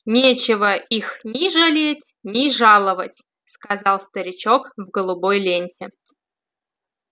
нечего их ни жалеть ни жаловать сказал старичок в голубой ленте